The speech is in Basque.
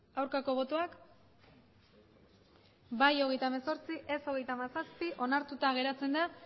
aurkako botoak bai hogeita hemezortzi ez hogeita hamazazpi onartuta geratzen da